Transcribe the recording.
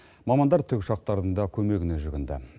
мамандар тікұшақтардың да көмегіне жүгінді